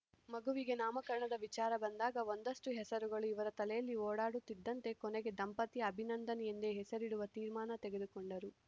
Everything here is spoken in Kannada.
ಮಗುವಿಗೆ ನಾಮಕರಣದ ವಿಚಾರ ಬಂದಾಗ ಒಂದಷ್ಟುಹೆಸರುಗಳು ಇವರ ತಲೆಯಲ್ಲಿ ಓಡಾದಿತ್ತಂತೆ ಕೊನೆಗೆ ದಂಪತಿ ಅಭಿನಂದನ್‌ ಎಂದೇ ಹೆಸರಿಡುವ ತೀರ್ಮಾನ ತೆಗೆದುಕೊಂಡರು